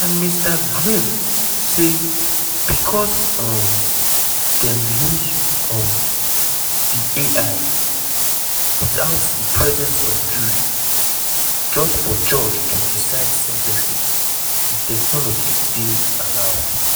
and mr grimm say becos um dem use um di ai witout di presence of jury just for judge to decide sen ten cing di technology dey allowed.